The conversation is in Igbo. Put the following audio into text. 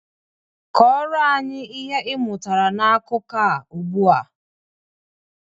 Kọrọ anyị ihe ị mụtara na akụkọ a ugbu a!